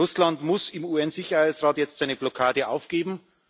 Russland muss im UN Sicherheitsrat jetzt seine Blockade aufgeben.